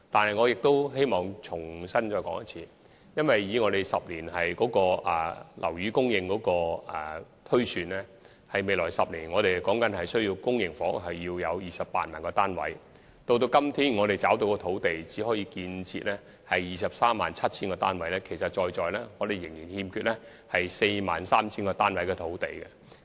然而，我希望在此重申，按照10年房屋需求推算，我們需要在未來10年提供 280,000 個公營房屋單位，但至今覓得的土地只足夠讓我們建設 237,000 個單位，我們仍然欠缺興建 43,000 個單位的土地。